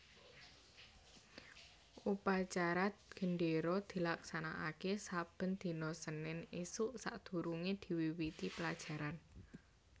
Upacara gendéra dilaksanakaké saben dina Senin ésuk sadurungé diwiwiti pelajaran